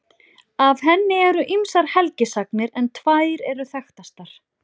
Af henni eru ýmsar helgisagnir en tvær eru þekktastar.